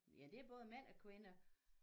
Ja det er både mænd og kvinder